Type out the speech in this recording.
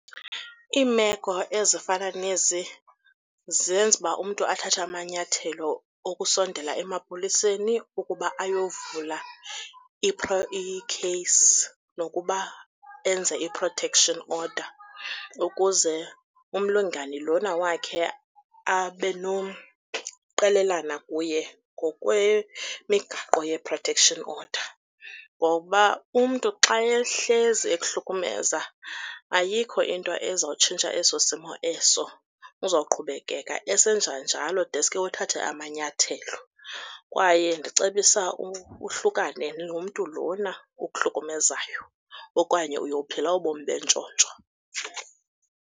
Iimeko ezifana nezi zenza uba umntu athathe amanyathelo okusondela emapoliseni ukuba ayovula ikheyisi nokuba enze i-protection order, ukuze umlingani lona wakhe abe nomqelelana kuye ngokwemigaqo ye-protection order. Ngoba umntu xa ehlezi ekuhlukumeza ayikho into ezawutshintsha eso simo eso, uzawuqhubeka esenza njalo deske uthathe amanyathelo. Kwaye ndicebisa uhlukane nomntu lona ukuhlukumezayo okanye uyophila ubomi bentshontsho.